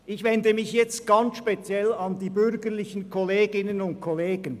Ich wende mich im Folgenden speziell an die bürgerlichen Kolleginnen und Kollegen.